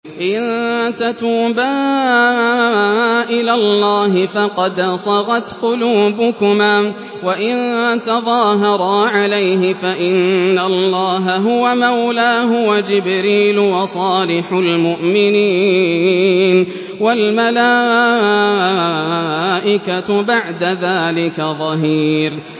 إِن تَتُوبَا إِلَى اللَّهِ فَقَدْ صَغَتْ قُلُوبُكُمَا ۖ وَإِن تَظَاهَرَا عَلَيْهِ فَإِنَّ اللَّهَ هُوَ مَوْلَاهُ وَجِبْرِيلُ وَصَالِحُ الْمُؤْمِنِينَ ۖ وَالْمَلَائِكَةُ بَعْدَ ذَٰلِكَ ظَهِيرٌ